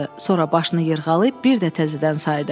Sonra başını yırğalayıb bir də təzədən saydı.